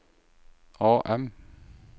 AM